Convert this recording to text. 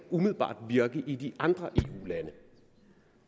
umiddelbart virke i de andre eu lande